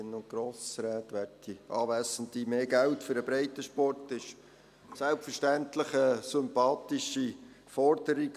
Mehr Geld für den Breitensport ist selbstverständlich eine sympathische Forderung.